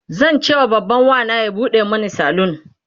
zancewa babban Wana ya buɗe Mani salon